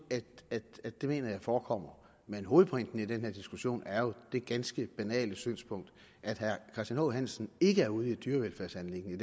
at det mener jeg forekommer men hovedpointen i den her diskussion er jo det ganske banale synspunkt at herre christian h hansen i ikke er ude i et dyrevelfærdsanliggende